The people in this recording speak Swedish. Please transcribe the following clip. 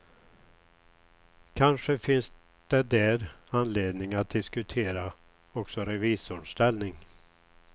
Kanske finns det där anledning att diskutera också revisorns ställning.